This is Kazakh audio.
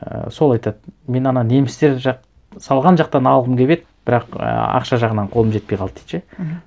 ііі сол айтады мен ана немістер жақ салған жақтан алғым келіп еді бірақ ііі ақша жағынан қолым жетпей қалды дейді ше мхм